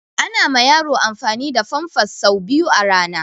Ana ma yaro amfani da famfas sau biyu a rana